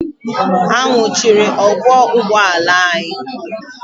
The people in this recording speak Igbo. Ha nwụchiri ọkwọ ụgbọala anyị?